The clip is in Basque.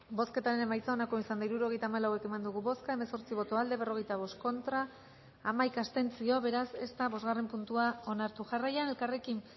bozketaren emaitza onako izan da hirurogeita hamalau eman dugu bozka hemezortzi boto aldekoa berrogeita bost contra hamaika abstentzio beraz ez da bosgarren puntua onartu jarraian elkarrekin